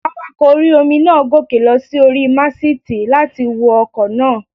Awakọ̀ orí-omi náà gòkè lọ sí orí màsìtì láti wo ọkọ̀ náà